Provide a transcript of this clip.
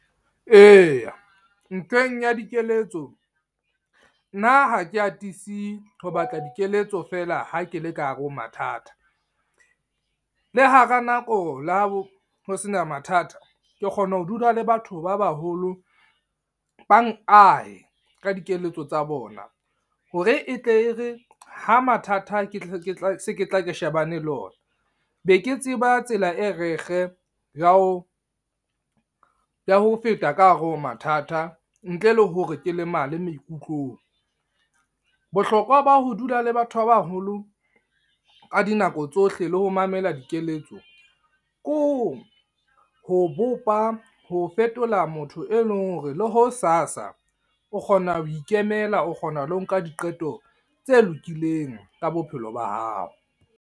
Eya, ntweng ya dikeletso. Nna ha ke atisi ho batla dikeletso fela ha ke le ka hare ho mathata. Le hara nako la ho sena mathata, ke kgona ho dula le batho ba baholo, bang ahe ka dikeletso tsa bona. Hore e tle e re ha mathata ke ke tla se tla re shebane le ona, be ke tseba ysela e rekge ya ho ya ho feta ka hare ho mathata, ntle le hore ke lemale maikutlong. Bohlokwa ba ho dula le batho ba baholo ka dinako tsohle, le ho mamela dikeletso. Ke ho ho bopa ho fetola motho e leng hore le ho sasa o kgona ho ikemela, o kgona le ho nka diqeto tse lokileng ka bophelo ba hao.